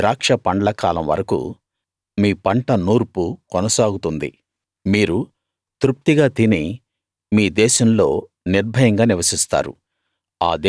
మీ ద్రాక్ష పండ్లకాలం వరకూ మీ పంట నూర్పు కొనసాగుతుంది మీరు తృప్తిగా తిని మీ దేశంలో నిర్భయంగా నివసిస్తారు